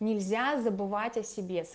нельзя забывать о себе